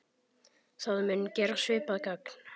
Það mun gera svipað gagn.